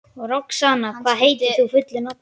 Roxanna, hvað heitir þú fullu nafni?